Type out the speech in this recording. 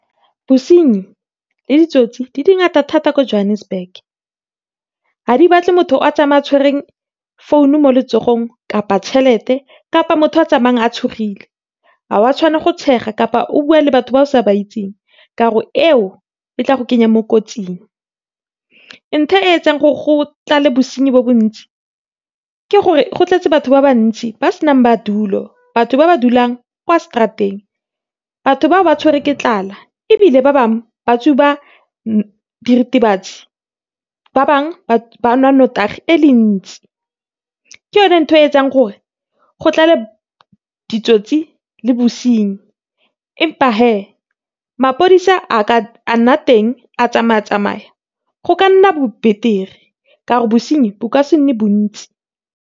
Bosenyi le ditsotsi di dingata thata ko Johannesburg. Ha di batle motho a tsamaya a tshwereng phone-o mo letsogong, kapa tšhelete, kapa motho a tsamayang a tshogile. Ha wa tshwanela go tshega, kapa o buwa le batho ba o sa ba itseng, ka gore eo e tla go kenya mo kotsing. ntho eo etsang go tlale bosenyi bo bontsi ke gore go tletse batho ba bantsi, ba se nang madulo, batho ba dulang kwa straat-eng. Batho bao ba tshwere ke tlala, ebile ba bangwe ba tsuba diritibatsi, ba bangwe ba nwa nnotagi e le ntsi. Ke yone nthwe e etsang gore go tlale ditsotsi le bosenyi. Empa hee mapodisa a ka a nna teng, a tsamaya tsamaya go ka nna bo betere, ka gore bosenyi bo ka se nne bontsi.